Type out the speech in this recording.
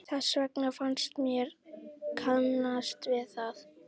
Þess vegna fannst mér ég kannast við hann.